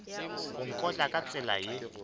go nkotla ka tsela ye